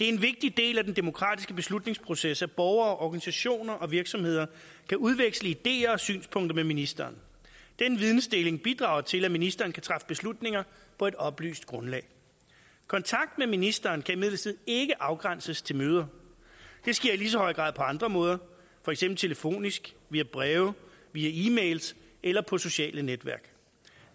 en vigtig del af den demokratiske beslutningsproces at borgere organisationer og virksomheder kan udveksle ideer og synspunkter med ministeren den vidensdeling bidrager til at ministeren kan træffe beslutninger på et oplyst grundlag kontakt med ministeren kan imidlertid ikke afgrænses til møder det sker i lige så høj grad på andre måder for eksempel telefonisk via breve via e mails eller på sociale netværk